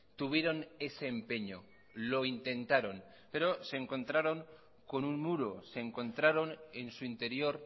tuvieron ese empeño lo intentaron pero se encontraron con un muro se encontraron en su interior